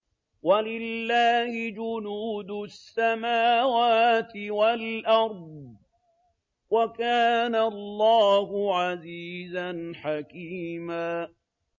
وَلِلَّهِ جُنُودُ السَّمَاوَاتِ وَالْأَرْضِ ۚ وَكَانَ اللَّهُ عَزِيزًا حَكِيمًا